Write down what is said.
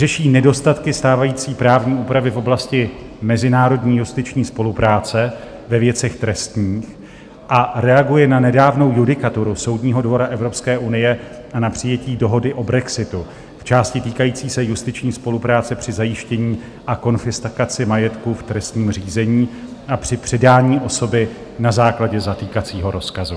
Řeší nedostatky stávající právní úpravy v oblasti mezinárodní justiční spolupráce ve věcech trestních a reaguje na nedávnou judikaturu Soudního dvora Evropské unie a na přijetí dohody o brexitu v části týkající se justiční spolupráce při zajištění a konfiskaci majetku v trestním řízení a při předání osoby na základě zatýkacího rozkazu.